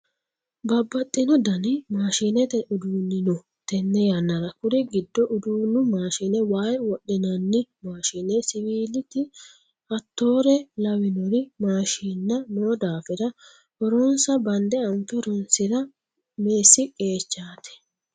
Babbaxino dani maashinete uduuni no tenne yannara kuri giddo uduunu maashine waa wodhinanni maashine siwiiliti hattore lawinori maashinna no daafira horonsa bande anfe horonsira meessi qeechati.